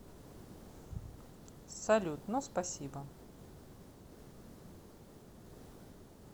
салют но спасибо